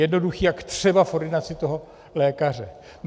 Jednoduchý akt třeba v ordinaci toho lékaře.